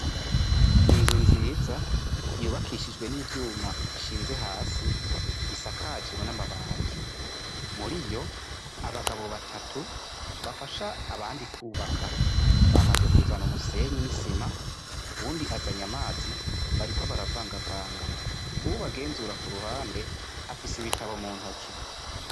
Inzu nziza yubakishijwe n'ivyuma bishinze hasi isakajwe n'amabati, muriyo abagabo batatu bafasha abandi kubaka bamaze kuzana umusenyi n'isima, uwundi azanye amazi bariko baravangavanga uwubagenzura k'uruhande afise ibitabo mu ntoke.